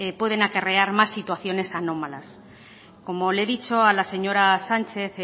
pueden acarrear más situaciones anómalas como le he dicho a la señora sánchez